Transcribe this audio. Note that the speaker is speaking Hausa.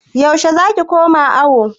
Yaushe za ki koma awo?